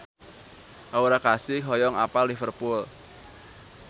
Aura Kasih hoyong apal Liverpool